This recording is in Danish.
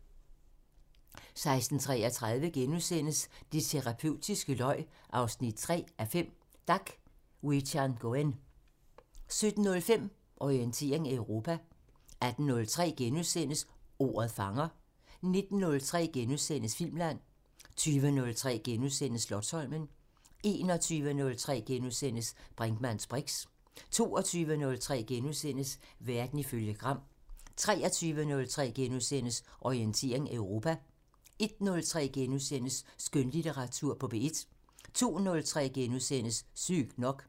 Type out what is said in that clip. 16:33: Det terapeutiske løg 3:5 – Dak Wichangoen * 17:05: Orientering Europa 18:03: Ordet fanger * 19:03: Filmland * 20:03: Slotsholmen * 21:03: Brinkmanns briks * 22:03: Verden ifølge Gram * 23:03: Orientering Europa * 01:03: Skønlitteratur på P1 * 02:03: Sygt nok *